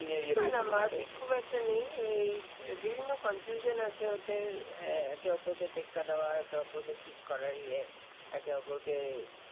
বিভিন্ন Confusion আছে ইয়াতে একে অপরকেট টেক্কা দেওয়া এক অপরকে Cheat করা একে অপরকে